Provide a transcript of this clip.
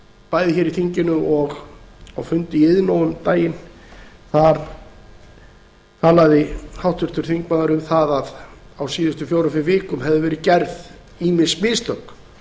bæði hér í þinginu og á fundi í iðnó um daginn þar talaði háttvirtur þingmaður um að á síðustu fjórum fimm vikum hefðu verið gerð ýmis mistök